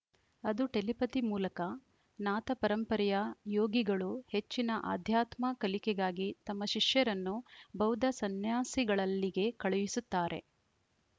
ಅದು ಟೆಲಿಪತಿ ಮೂಲಕ ನಾಥ ಪರಂಪರೆಯ ಯೋಗಿಗಳು ಹೆಚ್ಚಿನ ಆಧ್ಯಾತ್ಮ ಕಲಿಕೆಗಾಗಿ ತಮ್ಮ ಶಿಷ್ಯರನ್ನು ಬೌದ್ಧ ಸಂನ್ಯಾಸಿಗಳಲ್ಲಿಗೆ ಕಳುಹಿಸುತ್ತಾರೆ